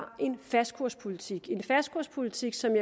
en fastkurspolitik en fastkurspolitik som